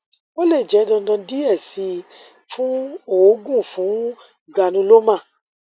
o le jẹ dandan diẹ sii fun oogun fun granuloma